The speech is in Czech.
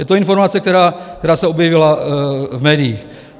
Je to informace, která se objevila v médiích.